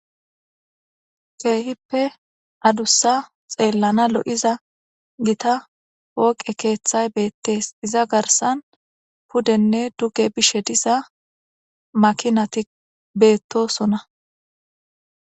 keehippe adussa xeellana lo7iza gita woqe keeththay beettees iza garsan pudenne duge bishe diza makinati beettosona